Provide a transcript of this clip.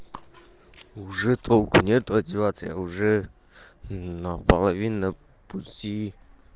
уже толку нет одеваться я уже на половину пути